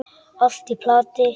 Allt í plati.